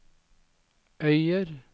Øyer